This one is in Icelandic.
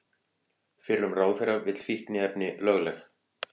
Fyrrum ráðherra vill fíkniefni lögleg